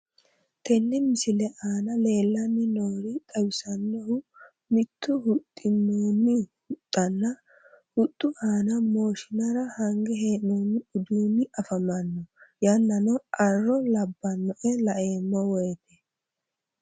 Tenne misile aana leelanni noori xawisanohu mito huxinoonni huxxanna huxxu aana mooshinara hange heenonn uduuni afamanno yananno arro labanoe laeemo woyte